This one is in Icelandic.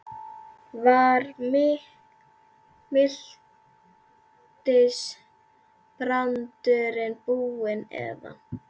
Var miltisbrandurinn búinn eða?